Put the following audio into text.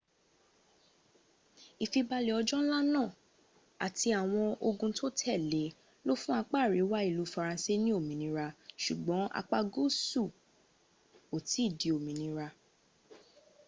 ìfibalè ọjọ́ nla náà àti àwọn ogun tó tèle e lọ fún apá àríwá ìlú faransé ní òmìnira súgbọn apá gúúsù ò tìí di òmìnira